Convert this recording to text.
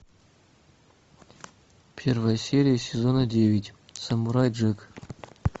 первая серия сезона девять самурай джек